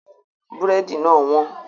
Búrẹ́dì náà wọ́n